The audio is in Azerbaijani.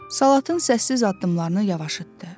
Salatın səssiz addımlarını yavaşlatdı.